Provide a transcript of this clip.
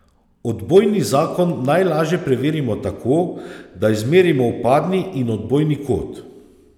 Odbojni zakon najlažje preverimo tako, da izmerimo vpadni in odbojni kot.